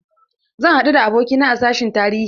Zan haɗu da abokina a sashin tarihi.